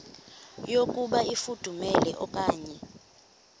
yokuba ifudumele okanye